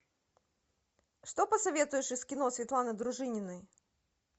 что посоветуешь из кино светланы дружининой